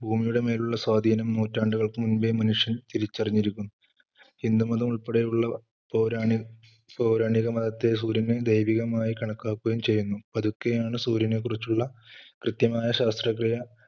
ഭൂമിയുടെ മേലുള്ള സ്വാധീനം നൂറ്റാണ്ടുകൾക്ക് മുന്പേ മനുഷ്യൻ തിരിച്ചറിഞ്ഞിരിക്കുന്നു. ഹിന്ദുമതം ഉൾപ്പെടെയുള്ള പൗരാണി~പൗരാണിക മതത്തെ സൂര്യനെ ദൈവികമായി കണക്കാക്കുകയും ചെയ്യുന്നു. പതുക്കെയാണ് സൂര്യനെ കുറിച്ചുള്ള കൃത്യമായ ശാസ്ത്രക്രിയ,